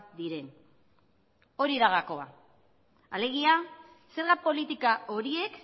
diren hori da gakoa alegia zerga politika horiek